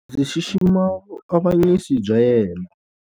Ndzi xixima vuavanyisi bya yena.